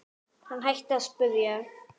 Hann hætti því að spyrja.